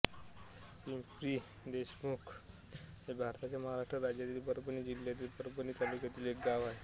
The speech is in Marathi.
पिंपरीदेशमुख हे भारताच्या महाराष्ट्र राज्यातील परभणी जिल्ह्यातील परभणी तालुक्यातील एक गाव आहे